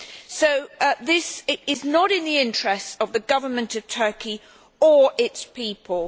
So this is not in the interests of the Government of Turkey or its people.